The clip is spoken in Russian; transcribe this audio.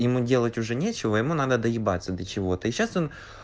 ему делать уже нечего ему надо доебаться до чего и сейчас он